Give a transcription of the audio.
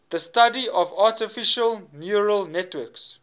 the study of artificial neural networks